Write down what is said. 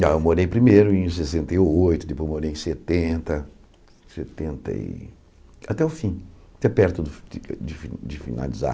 Ah eu morei primeiro em sessenta e oito, depois morei em setenta, setenta e até o fim, até perto de de fi de finalizar.